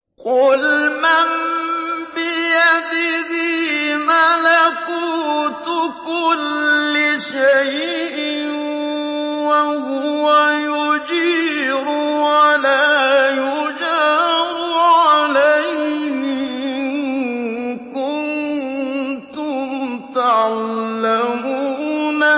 قُلْ مَن بِيَدِهِ مَلَكُوتُ كُلِّ شَيْءٍ وَهُوَ يُجِيرُ وَلَا يُجَارُ عَلَيْهِ إِن كُنتُمْ تَعْلَمُونَ